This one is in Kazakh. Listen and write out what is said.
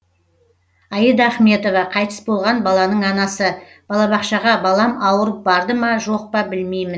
аида ахметова қайтыс болған баланың анасы балабақшаға балам ауырып барды ма жоқ па білмеймін